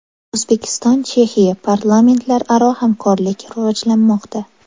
O‘zbekiston – Chexiya: parlamentlararo hamkorlik rivojlanmoqda.